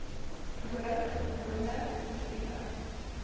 hoor gewoonlik siviele